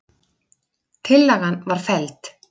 Tillagan var felld